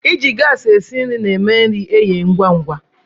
I ji gaasị e si nri na-eme nri eghee ngwá ngwá.